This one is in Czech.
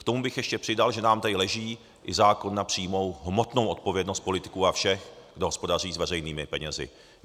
K tomu bych ještě přidal, že nám tady leží i zákon na přímou hmotnou odpovědnost politiků a všech, kdo hospodaří s veřejnými penězi.